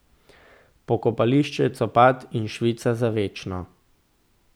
Pokopališče copat in švica za večno.